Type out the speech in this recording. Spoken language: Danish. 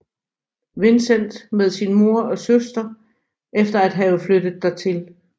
Vincent med sin mor og søster efter at have flyttet dertil